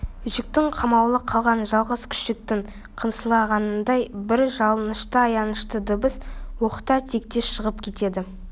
үйшікте қамаулы қалған жалғыз күшіктің қынсылағанындай бір жалынышты аянышты дыбыс оқта-текте шығып кетеді